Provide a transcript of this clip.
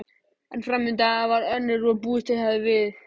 En framvindan varð önnur en búist hafði verið við.